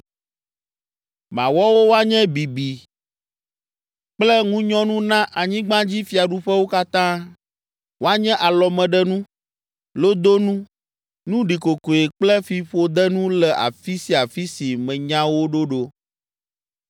Mawɔ wo woanye bibi kple ŋunyɔnu na anyigbadzifiaɖuƒewo katã, woanye alɔmeɖenu, lodonu, nu ɖikokoe kple fiƒodenu le afi sia afi si menya wo ɖo ɖo.